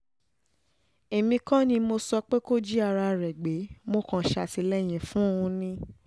èmi kọ́ ni mo sọ pé kó jí ara rẹ̀ gbé mo kàn ṣàtìlẹ́yìn fún un ni